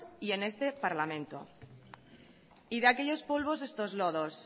y en este parlamento de aquellos polvos estos lodos